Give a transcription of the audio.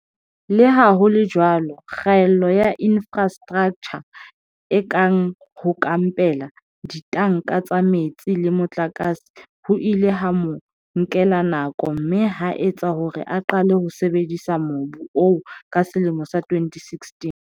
Leha ho le jwalo, kgaello ya infrastraktjha e kang ho kampela, ditanka tsa metsi le motlakase ho ile ha mo nkela nako mme ha etsa hore a qale ho sebedisa mobu oo ka selemo sa 2016.